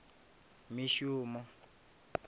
mishumo